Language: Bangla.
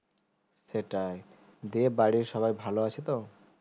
সেটাই দিয়ে বাড়ির সবাই ভালো আছে তো